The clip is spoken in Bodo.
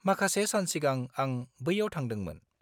-माखासे सान सिगां आं बैयाव थांदोंमोन।